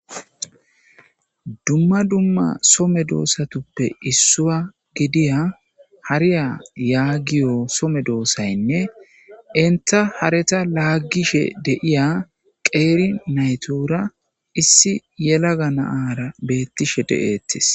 Dumma dumma so medosatuppe issuwa gidiya hariya yagiyo so meedossaynne entta hareta lagishe de'iya qeeri naytuura issi yelaga na'ara beetishe de'etees.